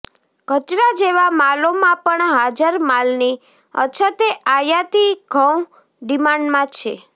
કચરા જેવા માલોમાં પણ હાજર માલની અછતે આયાતી ઘઉં ડિમાન્ડમાં છે